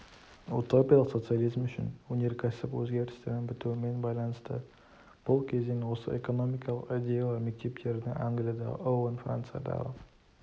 утопиялық социализм үшін өнеркәсіп өзгерістерінің бітуімен байланысты бұл кезен осы экономикалық идеялар мектептерінің англиядағы оуэн франциядағы